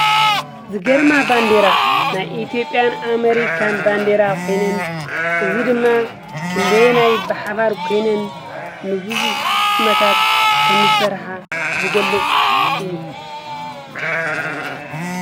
ዝገርማ ባንዴራ ናይ ኢትዮጵያን ኣሜሪካን ባንዴራ ኾይኑን እዚ ድማ ክንደየናይ ብሓባር ኮይነን ንቡዙሕ ዓመት ከምዝሰርሓ ዝገልፅ እዩ።